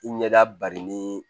I ɲɛda barinin